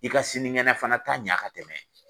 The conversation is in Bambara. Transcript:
I ka sinikɛnɛ fana ta ɲa ka tɛmɛ